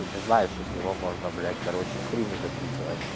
не знает что с него можно блять короче стримы записывать